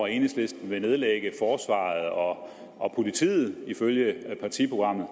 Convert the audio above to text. enhedslisten vil nedlægge forsvaret og og politiet ifølge partiprogrammet